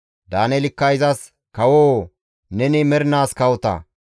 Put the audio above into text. Daaneelikka izas, «Kawoo! Neni mernaas kawota!